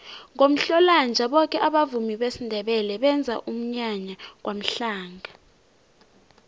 ngomhlolanja boke abavumi besindebele benza umnyanya kwamhlanga